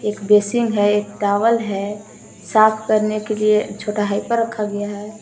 एक बेसिंग है एक टॉवल है साफ करने के लिए छोटा हाइपर रखा गया है।